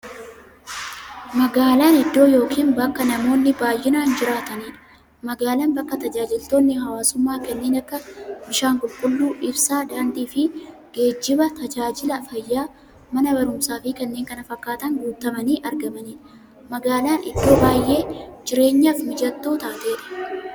Magaalan iddoo yookiin bakka namoonni baay'inaan jiraataniidha. Magaalan bakka taajajilootni hawwaasummaa kanneen akka; bishaan qulqulluu, ibsaa, daandiifi geejjiba, taajajila fayyaa, Mana baruumsaafi kanneen kana fakkatan guutamanii argamaniidha. Magaalan iddoo baay'ee jireenyaf mijattuu taateedha.